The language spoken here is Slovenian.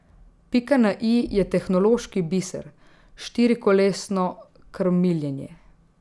Pika na i je tehnološki biser, štirikolesno krmiljenje.